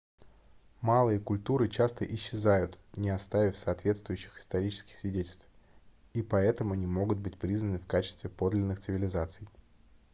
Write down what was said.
малые культуры часто исчезают не оставив соответствующих исторических свидетельств и поэтому не могут быть признаны в качестве подлинных цивилизаций